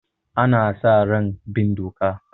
Ana sa ran bin doka.